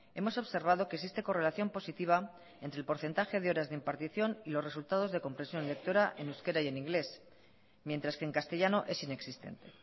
hemos observado que existe correlación positiva entre el porcentaje de horas de impartición y los resultados de compresión lectora en euskera y en inglés mientras que en castellano es inexistente